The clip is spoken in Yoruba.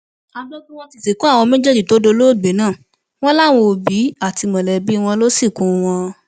a gbọ pé wọn ti sìnkú àwọn méjèèjì tó dolóògbé náà wọn làwọn òbí àti mọlẹbí wọn lọọ sìnkú wọn